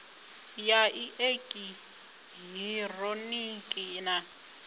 ya i eki hironiki na